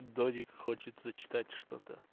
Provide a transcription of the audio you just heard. дождик хочется читать что